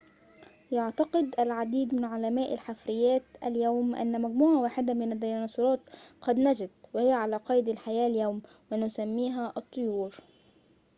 يعتقد العديد من علماء الحفريات اليوم أن مجموعة واحدة من الديناصورات قد نجت وهي على قيد الحياة اليوم ونسميها الطيور